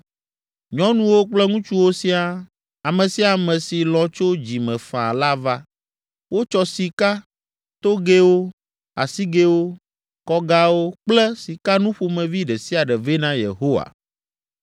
Nyɔnuwo kple ŋutsuwo siaa, ame sia ame si lɔ̃ tso dzi me faa la va. Wotsɔ sika, togɛwo, asigɛwo, kɔgawo kple sikanu ƒomevi ɖe sia ɖe vɛ na Yehowa.